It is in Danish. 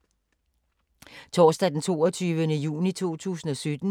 Torsdag d. 22. juni 2017